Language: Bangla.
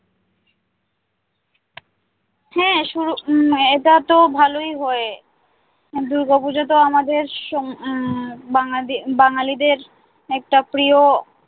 হ্যাঁ উম এইটা তো ভালোই হয় দূর্গা পূজা তো আমাদের আহ বাঙালি বাঙালিদের একটা প্রিয়